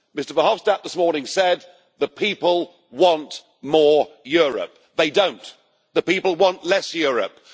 Mr Verhofstadt this morning said the people want more Europe. They do not the people want less Europe.